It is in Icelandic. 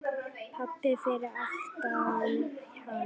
Pabbi fyrir aftan hana: